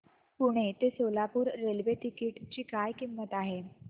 पुणे ते Solapur railway ticket ची किंमत काय आहे